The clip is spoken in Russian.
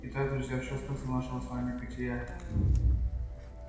итак друзья в чём смысл нашего с вами бытия